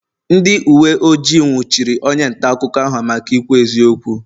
ndị uwe ojii nwụchiri onye nta akụkọ ahụ maka ikwu eziokwu